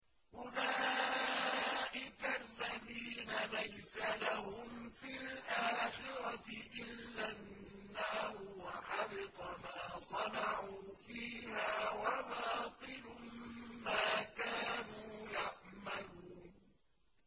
أُولَٰئِكَ الَّذِينَ لَيْسَ لَهُمْ فِي الْآخِرَةِ إِلَّا النَّارُ ۖ وَحَبِطَ مَا صَنَعُوا فِيهَا وَبَاطِلٌ مَّا كَانُوا يَعْمَلُونَ